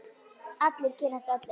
Allir kynnast öllum.